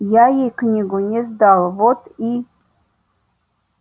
я ей книгу не сдал вот и